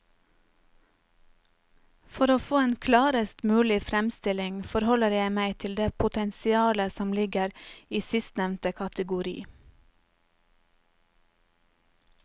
For å få en klarest mulig fremstilling forholder jeg meg til det potensialet som ligger i sistnevnte kategori.